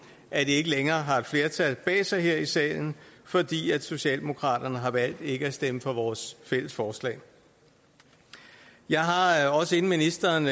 ikke længere har et flertal bag sig her i salen fordi socialdemokraterne har valgt ikke at stemme for vores fælles forslag jeg har naturligvis også inden ministeren